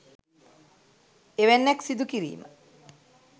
එවැන්නක් සිදු කිරීම